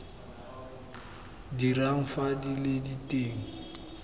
dirang fa di le teng